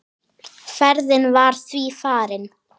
Ferðin var því farin.